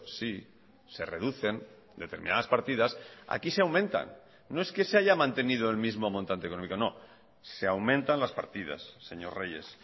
sí se reducen determinadas partidas aquí se aumentan no es que se haya mantenido el mismo montante económico no se aumentan las partidas señor reyes